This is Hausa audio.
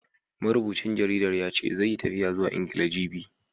Marubucin jaridar ya ce, zai yi tafiya zuwa Ingila, jibi.